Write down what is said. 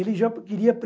Ele já queria